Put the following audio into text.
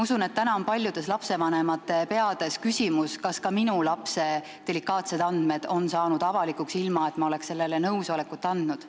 Usun, et täna on paljudel lastevanematel küsimus, kas ka tema lapse delikaatsed andmed on saanud avalikuks, ilma et ta oleks selleks nõusolekut andnud.